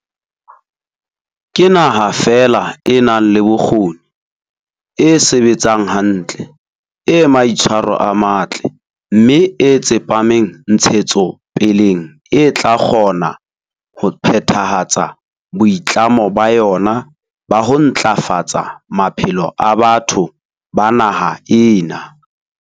Ke naha feela e nang le bokgoni, e sebetsang hantle, e maitshwaro a matle mme e tsepameng ntshetsopeleng e tla kgona ho phethahatsa boitlamo ba yona ba ho ntla fatsa maphelo a batho ba naha ena.